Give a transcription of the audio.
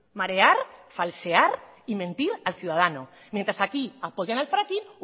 marear falsear y mentir al ciudadano mientras aquí apoyan al fracking